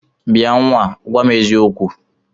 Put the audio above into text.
Bịa nnwa a, gwa m eziokwu!